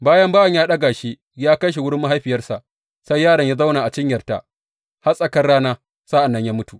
Bayan bawan ya ɗaga shi ya kai wurin mahaifiyarsa, sai yaron ya zauna a cinyarta har tsakar rana, sa’an nan ya mutu.